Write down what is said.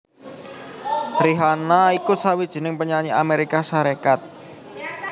Rihanna iku sawijining penyanyi Amérika Sarékat